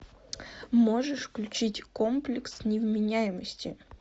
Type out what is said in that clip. можешь включить комплекс невменяемости